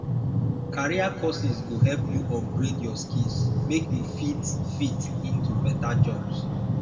career courses go help you upgrade your skills make you fit fit into beta jobs